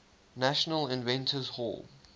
national inventors hall